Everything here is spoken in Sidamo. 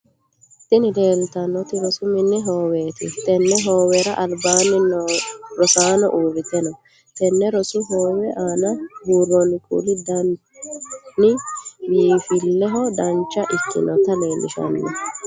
Tinni leelitanoti rosu minni hooweeti. Tenne hoowera albaanni rosaano uurite no. Tenne rosu hoowe aanna buuroonni kuuli danni biinfileho dancha ikinota leelishano.